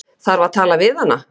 Þarf að tala við hana.